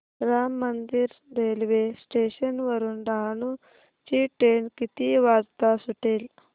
Ram Mandir railway station वरुन डहाणू ची train किती वाजता सुटेल